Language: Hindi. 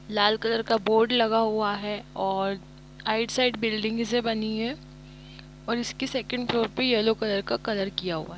लाल कलर बोर्ड लगा हुआ है और आइड-साइड बिल्डिंग्स ए बनी है और इसके सेकंड फ्लोर पे येलो कलर का कलर किया हुआ है।